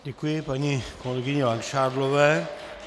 Děkuji paní kolegyni Langšádlové.